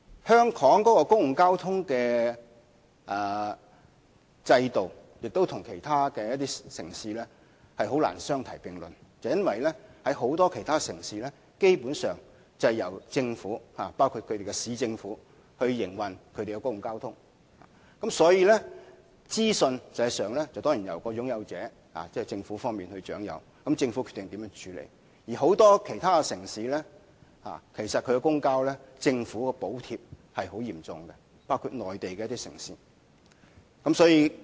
香港的公共交通制度難以跟其他城市相提並論，因為在很多其他城市裏，基本上是由政府營運公共交通的。因此，資訊實際上由擁有者掌握，由政府決定如何處理。在很多其他城市裏，政府對公共交通的補貼是很嚴重的，包括一些內地城市。